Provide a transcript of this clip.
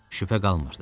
Şübhə qalmırdı.